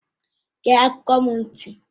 Gee akụkọ m ntị!